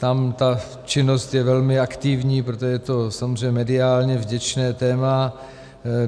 Tam ta činnost je velmi aktivní, protože to je samozřejmě mediálně vděčné téma.